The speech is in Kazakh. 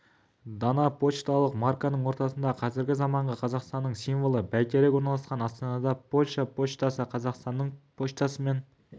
дана пошталық марканың ортасында қазіргі заманғы қазақстанның символы бәйтерек орналасқан астанада польша поштасы қазақстан поштасымен